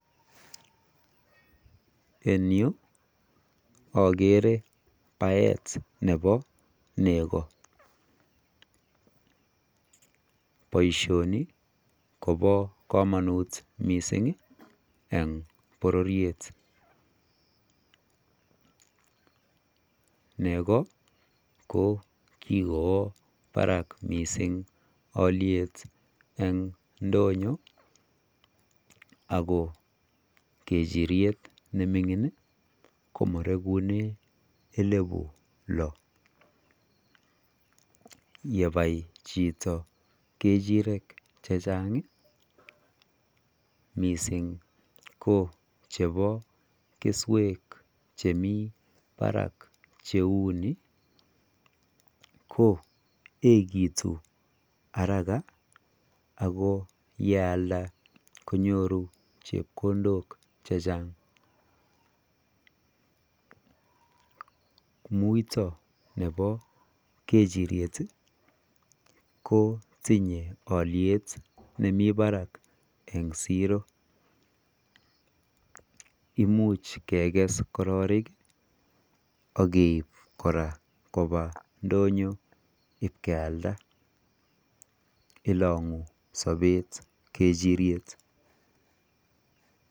en yu ogere baeet nebo nego, boishoni kobo komonuut mising ih en bororyet, nego ko kigowo barak mising olyeet en ndonyo ago kechiryeet nemingin iih komoregunen eleifu loo, yebai chito kechirek chechang iih mising ko chebo kesweek chemii barak cheuu ni, ko egitun haraka ago yealda konyoru chepkondokk chechang, muito nebo kechiryet iih kotinye olyeet nemii barak en zero, imuch kegees kororik ak keib koraa koba ndonyo ibkealda, ilongu sobeet kechiryeet.